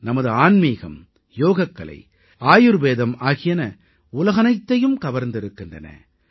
நமது ஆன்மீகம் யோகக்கலை ஆயுர்வேதம் ஆகியன உலகனைத்தையும் கவர்ந்திருக்கின்றன